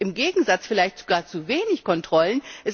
Gibt es nicht im Gegenteil vielleicht sogar zu wenige Kontrollen?